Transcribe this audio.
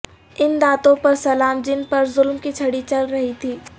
ان دانتوں پر سلام جن پر ظلم کی چھڑی چل رہی تھی